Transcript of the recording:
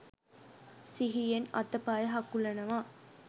සිහියෙන් අත පය හකුලනවා.